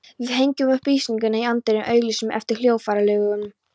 Við hengjum upp auglýsingu í anddyrinu, auglýsum eftir hljóðfæraleikurum.